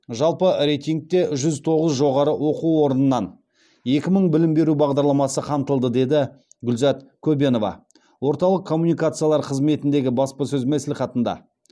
жалпы рейтингте жүз тоғыз жоғары оқу орнынан екі мың білім беру бағдарламасы қамтылды деді гүлзат көбенова орталық коммуникациялар қызметіндегі баспасөз мәслихатында